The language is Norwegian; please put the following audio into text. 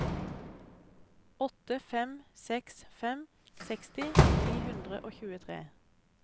åtte fem seks fem seksti ni hundre og tjuetre